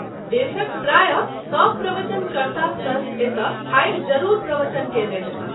देशक प्राय: सभ प्रवचन कर्ता संत एतय आबि जरूर प्रवचन कएने हेताह।